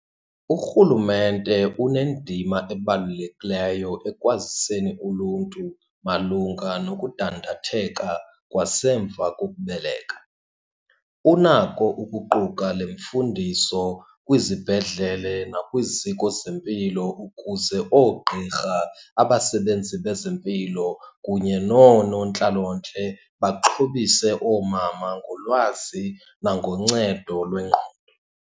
Urhulumente unendima ebalulekileyo ekwaziseni uluntu malunga nokudandatheka kwasemva kokubeleka. Unako ukuquka le mfundiso kwizibhedlele nakwiziko zempilo ukuze oogqirha, abasebenzi bezempilo, kunye noonontlalontle baxhobise oomama ngolwazi nangoncedo lwengqondo.